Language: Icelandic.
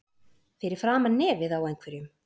Fyrir framan nefið á einhverjum